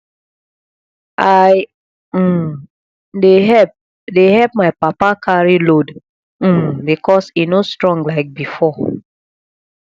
i um dey help dey help my papa carry load um because e no strong like before